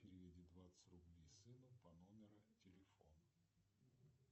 переведи двадцать рублей сыну по номеру телефона